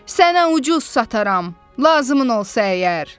Sənə ucuz sataram, lazımın olsa əgər."